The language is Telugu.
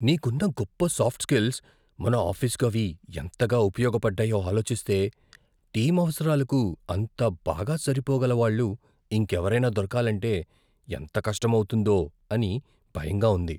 నీకున్న గొప్ప సాఫ్ట్ స్కిల్స్, మన ఆఫీసుకు అవి ఎంతగా ఉపయోగపడ్డాయో ఆలోచిస్తే, టీం అవసరాలకు అంత బాగా సరిపోగల వాళ్ళు ఇంకెవరైనా దొరకాలంటే ఎంత కష్టం అవుతుందో అని భయంగా ఉంది.